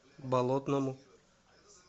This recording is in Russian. болотному